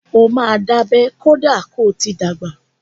Ó máa dábẹ́ kọ́dà ko ti dàgbà.